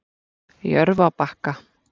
Jörfabakka